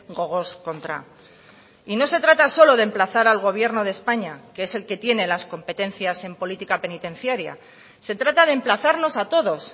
gogoz kontra y no se trata solo de emplazar al gobierno de españa que es el que tiene las competencias en política penitenciaria se trata de emplazarnos a todos